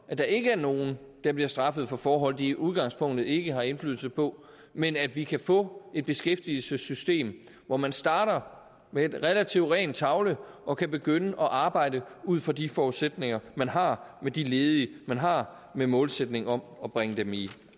at der ikke er nogen der bliver straffet for forhold de i udgangspunktet ikke har indflydelse på men at vi kan få et beskæftigelsessystem hvor man starter med en relativt ren tavle og kan begynde at arbejde ud fra de forudsætninger man har med de ledige man har med målsætningen om at bringe dem i